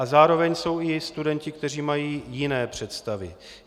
A zároveň jsou i studenti, kteří mají jiné představy.